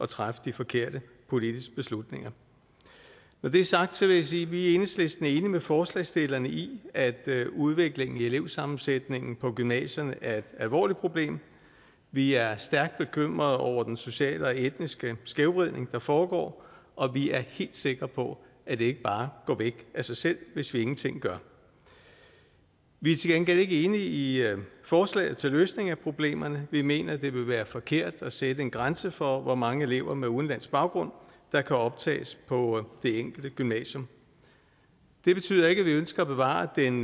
træffe de forkerte politiske beslutninger når det er sagt vil jeg sige at vi i enhedslisten er enige med forslagsstillerne i at udviklingen i elevsammensætningen på gymnasierne er et alvorligt problem vi er stærkt bekymrede over den sociale og etniske skævvridning der foregår og vi er helt sikre på at det ikke bare går væk af sig selv hvis vi ingenting gør vi er til gengæld ikke enige i forslaget til løsning af problemerne vi mener det vil være forkert at sætte en grænse for hvor mange elever med udenlandsk baggrund der kan optages på det enkelte gymnasium det betyder ikke at vi ønsker at bevare den